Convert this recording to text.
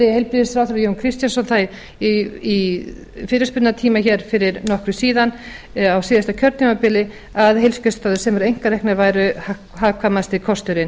heilbrigðisráðherra jón kristjánsson það í fyrirspurnatíma fyrir nokkru síðan á síðasta kjörtímabili að heilsugæslustöðvar sem væru einkareknar væru hagkvæmasti kosturinn